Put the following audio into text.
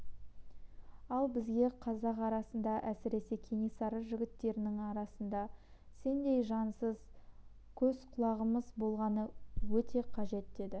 ал бізге қазақ арасында әсіресе кенесары жігіттерінің арасында сендей жансыз көз-құлағымыз болғаны өте қажет деді